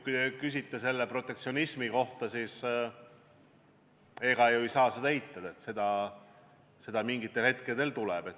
Kui te küsite protektsionismi kohta, siis ega ei saa eitada, et seda mingitel hetkedel on.